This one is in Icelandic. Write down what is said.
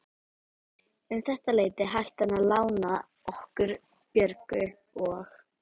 Um þetta leyti hætti hann að lána okkur Björgu og